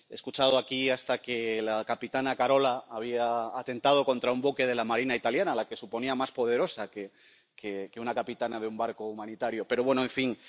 He escuchado aquí hasta que la capitana Carola había atentado contra un buque de la Marina italiana, a la que suponía más poderosa que una capitana de un barco humanitario, pero bueno, en fin.